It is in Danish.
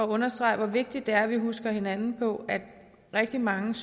understrege hvor vigtigt det er at vi husker hinanden på at rigtig mange